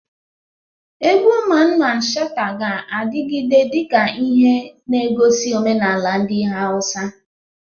Egwu Mamman Shata ga-adigide dika ihe negosi omenala ndi Hausa.